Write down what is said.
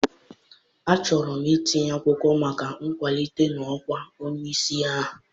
Achọrọ m itinye akwụkwọ maka nkwalite n'ọkwa onye isi agha.